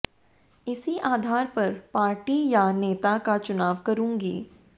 इसी आधार पर पार्टी या नेता का चुनाव करूंगी